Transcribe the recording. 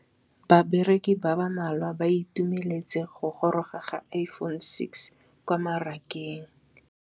Bareki ba ba malwa ba ituemeletse go gôrôga ga Iphone6 kwa mmarakeng.